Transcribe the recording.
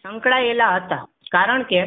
સંકળાયેલા હતા. કારણ કે